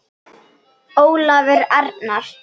Sláandi útspil.